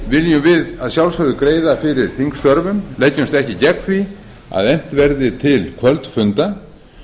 viljum við að sjálfsögðu greiða fyrir þingstörfum leggjumst ekki gegn því að efnt verði til kvöldfunda